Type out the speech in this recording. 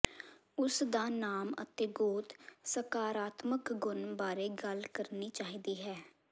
ਉਸ ਦਾ ਨਾਮ ਅਤੇ ਗੋਤ ਸਕਾਰਾਤਮਕ ਗੁਣ ਬਾਰੇ ਗੱਲ ਕਰਨੀ ਚਾਹੀਦੀ ਹੈ